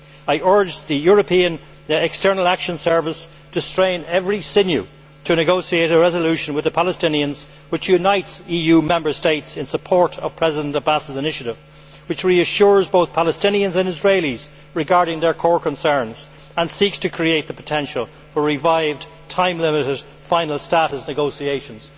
I urge the European External Action Service to strain every sinew to negotiate a resolution with the Palestinians which unites EU Member States in support of President Abbas's initiative, which reassures both Palestinians and Israelis regarding their core concerns, and which seeks to create the potential for revived, time limited final status negotiations.